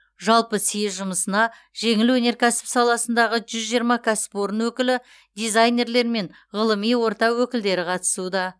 жалпы съезд жұмысына жеңіл өнеркәсіп саласындағы жүз жиырма кәсіпорын өкілі дизайнерлер мен ғылыми орта өкілдері қатысуда